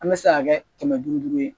An bɛ se k'a kɛ kɛmɛ duuru ye